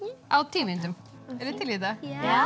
á tíu mínútum eruð þið til í þetta